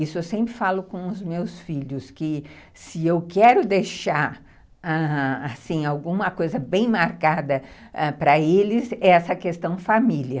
Isso eu sempre falo com os meus filhos, que se eu quero deixar, ãh... alguma coisa bem marcada para eles, é essa questão família.